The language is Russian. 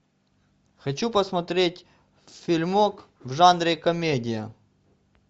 хочу посмотреть фильмок в жанре комедия